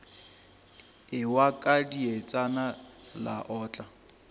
ewa ka dietšana la otla